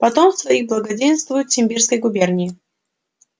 потомство их благоденствует в симбирской губернии